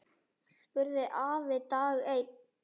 spurði afi dag einn.